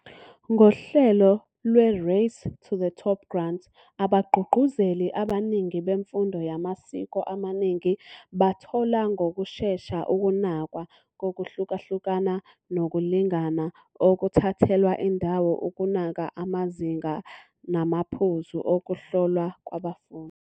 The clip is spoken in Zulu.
Ngohlelo lwe- Race to the Top grant, "Abagqugquzeli abaningi bemfundo yamasiko amaningi bathola ngokushesha ukunakwa kokuhlukahluka nokulingana okuthathelwa indawo ukunaka amazinga namaphuzu okuhlolwa kwabafundi".